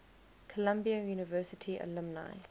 columbia university alumni